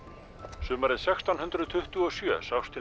sumarið sextán hundruð tuttugu og sjö sást til